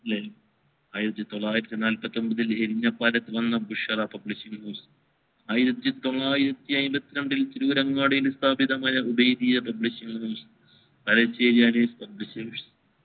ആയിരത്തി തൊള്ളായിരത്തി നാല്പത്തി ഒമ്പതിൽ എറിഞ്ഞ പലത്ത് നിന്ന് വന്ന ബുഷാറ publicity ആയിരത്തി തൊള്ളായിരത്തി ആയിമ്പത്തിരണ്ടിൽ തിരൂരങ്ങാടി സ്ഥാപിതകമായ ഉബൈദിയ publisheries